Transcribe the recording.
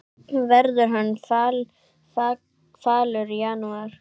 Verður hann falur í janúar?